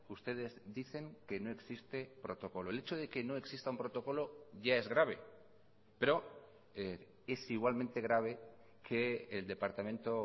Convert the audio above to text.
ustedes dicen que no existe protocolo el hecho de que no exista un protocolo ya es grave pero es igualmente grave que el departamento